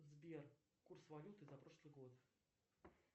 сбер курс валюты за прошлый год